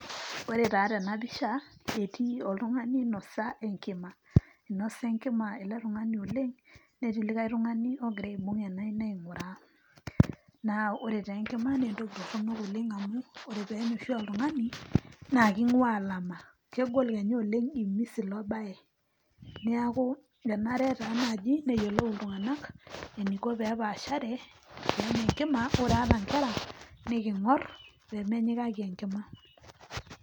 Ore taa tena pisha etii oltung'ani oinosa enkima, inosa enkima ele tung'ani oleng' netii likai tung'ani ogira aibung' ena aina aing'uraa naa ore taa enkima naa entoki toronok oleng' amu kore peenya oshi oltung'ani naake ing'ua olama. Kegol kenya oleng' imis ilo baye, neeku enare taa naji neyolou iltung'anak eniko pee epaashare pee enya enkima ore ata nkera nekiing'or pee menyikaki enkima.